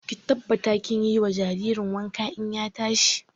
Ki tabbata kin yi wa jaririn wanka in ya tashi!